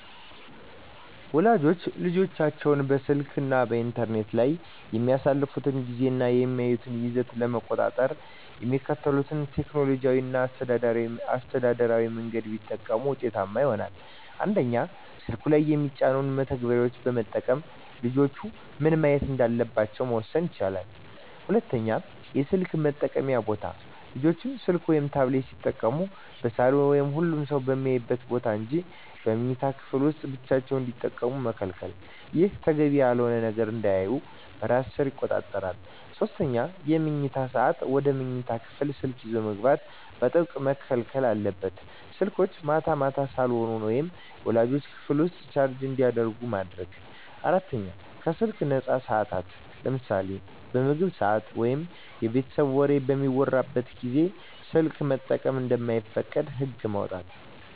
ወላጆች ልጆቻቸው በስልክ እና በኢንተርኔት ላይ የሚያሳልፉትን ጊዜ እና የሚያዩትን ይዘት ለመቆጣጠር የሚከተሉትን ቴክኖሎጂያዊ እና አስተዳደራዊ መንገዶች ቢጠቀሙ ውጤታማ ይሆናል፦ 1)ስልኩ ላይ የሚጫኑ መተግበሪያዎችን በመጠቀም ልጆች ምን ማየት እንዳለባቸው መወሰን ይቻላል። 2)የስልክ መጠቀምያ ቦታ: ልጆች ስልክ ወይም ታብሌት ሲጠቀሙ በሳሎን ወይም ሁሉም ሰው በሚያይበት ቦታ እንጂ በመኝታ ክፍል ውስጥ ብቻቸውን እንዳይጠቀሙ መከልከል። ይህ ተገቢ ያልሆነ ነገር እንዳያዩ በራስ ሰር ይቆጣጠራል። 3)የመኝታ ሰዓት: ወደ መኝታ ክፍል ስልክ ይዞ መግባት በጥብቅ መከልከል አለበት። ስልኮች ማታ ማታ ሳሎን ወይም ወላጆች ክፍል ውስጥ ቻርጅ እንዲደረጉ ማድረግ። 4)ከስልክ ነፃ ሰዓታት: ለምሳሌ በምግብ ሰዓት ወይም የቤተሰብ ወሬ በሚወራበት ጊዜ ስልክ መጠቀም እንደማይፈቀድ ህግ ማውጣት።